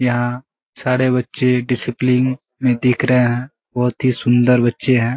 यहाँ सारे बच्चे डिसप्लिन में दिख रहें हैं। बहुत ही सुंदर बच्चे हैं।